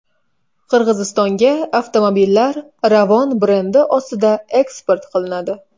Qirg‘izistonga avtomobillar Ravon brendi ostida eksport qilinadi.